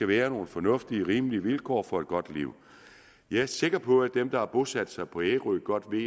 være nogle fornuftige og rimelige vilkår for et godt liv jeg er sikker på at dem der har bosat sig på ærø godt ved